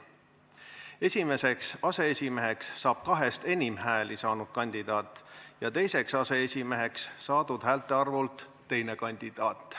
Esimeseks aseesimeheks saab kahest enim hääli saanud kandidaat ja teiseks aseesimeheks saadud häälte arvult teine kandidaat.